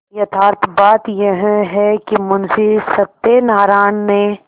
यथार्थ बात यह है कि मुंशी सत्यनाराण ने